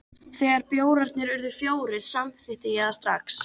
Þegar bjórarnir urðu fjórir, samþykkti ég það strax.